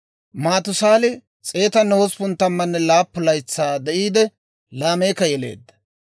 Maatusaali 187 laytsaa de'iide, Laameeka yeleedda;